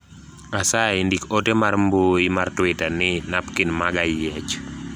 asayi ndik ote mar mbui mar twita ni napkin maga yiech